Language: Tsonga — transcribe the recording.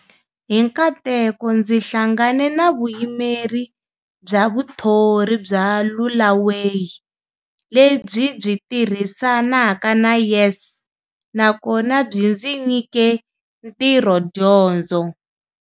Hi nkateko ndzi hlangane na Vuyimeri bya Vuthori bya Lulaway le byi byi tirhisa naka na YES, na kona byi ndzi nyi ke ntirhodyondzo.